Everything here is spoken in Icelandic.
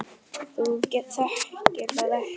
Þú þekkir það ekki!